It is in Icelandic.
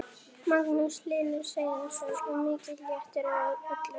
Magnús Hlynur Hreiðarsson: Og mikill léttir á öllum?